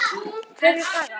Kveðja, Saga.